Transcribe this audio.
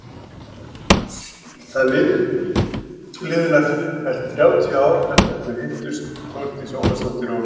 Það liðu nærfellt þrjátíu ár þar til þau hittust Þórdís Ólafsdóttir og